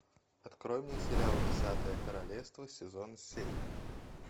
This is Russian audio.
открой мне сериал десятое королевство сезон семь